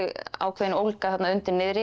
ákveðin ólga þarna undir niðri